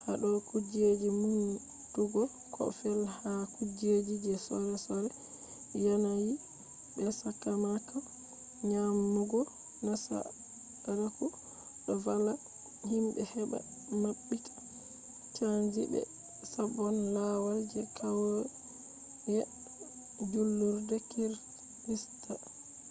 hado kujeji numtugo koh fe’i ha kujeji je sore sore yanayi be sakamako nyamugo nasaraku do valla himbe heba mabbita changi be sabon lawal je kauye julurde kirista